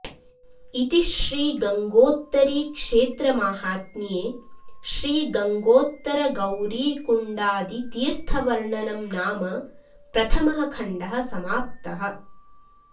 इति श्री गङ्गोत्तरीक्षेत्रमाहात्म्ये श्री गङ्गोत्तरगौरीकुण्डादि तीर्थवर्णनं नाम प्रथमः खण्डः समाप्तः